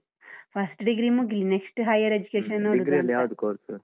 first degree ಮುಗಿಲಿ next higher education .